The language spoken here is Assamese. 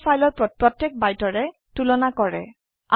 ই দুটা ফাইলৰ প্ৰত্যেক বাইটৰে তুলনা কৰে